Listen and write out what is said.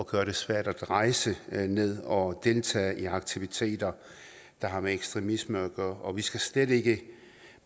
gøre det svært at rejse ned og deltage i aktiviteter der har med ekstremisme at gøre og vi skal slet ikke